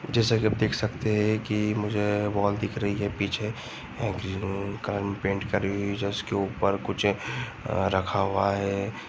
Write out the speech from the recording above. जैसा कि आप देख सकते हैं मुझे वॉल दिख रही है पीछे ग्रीन कलर पेंट करी हुई जिसके ऊपर कुछ रखा हुआ है।